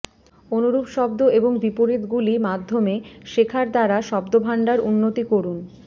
অনুরূপ শব্দ এবং বিপরীতগুলি মাধ্যমে শেখার দ্বারা শব্দভান্ডার উন্নতি করুন